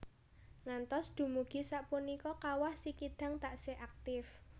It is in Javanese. Ngantos dumugi sapunika Kawah Sikidang taksih aktif